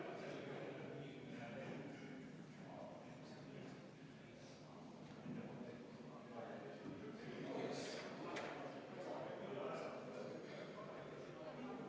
Katkestamist pooldab 19 saadikut, selle vastu on 42 saadikut.